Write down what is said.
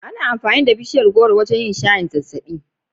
Ana amfani da bishiyar gworo wajen yin shayin zazzaɓi.